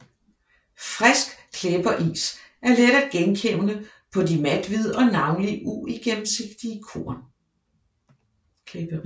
Frisk klæberis er let at genkende på de mathvide og navnlig uigennemsigtige korn